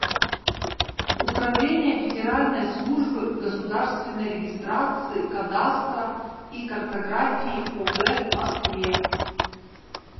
управление федеральной службы государственной регистрации кадастра и картографии по г москве